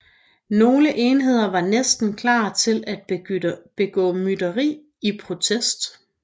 Nogle enheder var næsten klar til at begå mytteri i protest